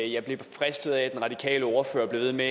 jeg blev fristet af at den radikale ordfører blev ved med